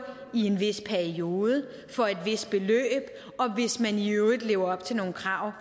i en vis periode for et vist beløb og hvis man i øvrigt lever op til nogle krav